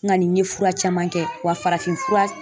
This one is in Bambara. N kani n ye fura caman kɛ wa farafinfura